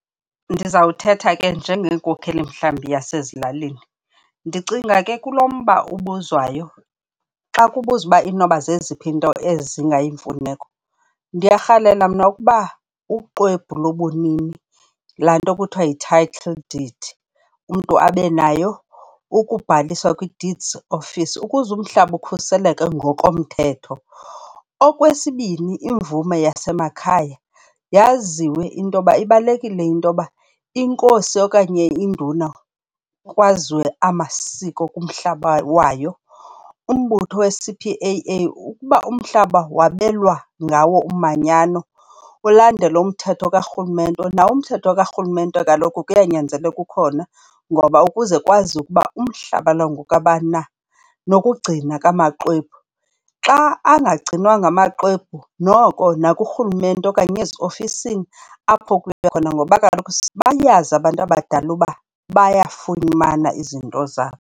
Ndizawuthetha ke njengenkokheli mhlawumbi yasezilalini. Ndicinga ke kulo mba ubuzwayo xa kubuzwa uba inoba zeziphi iinto ezingayimfunelo. Ndiyarhalela mna ukuba uxwebhu lobunini, laa nto kuthiwa yi-title deed, umntu abe nayo ukubhaliswa kwi-Deeds Office ukuze umhlaba ukhuseleke ngokomthetho. Okwesibini imvume yasemakhaya yaziwe into yoba ibalulekile into yoba iNkosi okanye iNduna kwaziwe amasiko kumhlaba wayo. Umbutho we-C_P_A_A ukuba umhlaba wabelwa ngawo umanyano ulandele umthetho karhulumente. Nawo umthetho karhulumente kaloku kuyanyanzeleka ukhona ngoba ukuze kwaziwe ukuba umhlaba lo ngokabani na. Nokugcina kwamaxwebhu. Xa angagcinwanga amaxwebhu noko nakurhulumente okanye eziofisini apho khona ngoba kaloku bayazi abantu abadala uba bayafumana izinto zabo.